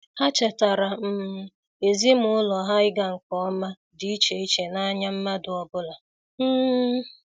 Ha chetara um ezimụlọ ha na-ịga nke ọma dị iche iche n'anya mmadụ ọbụla. um